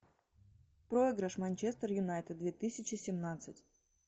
проигрыш манчестер юнайтед две тысячи семнадцать